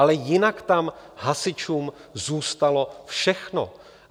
Ale jinak tam hasičům zůstalo všechno.